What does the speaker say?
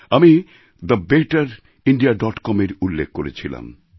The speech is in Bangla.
আমি দ্য বেটার ইণ্ডিয়া ডট কমএর উল্লেখ করেছিলাম